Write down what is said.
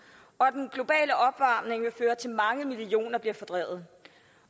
og at mange millioner bliver fordrevet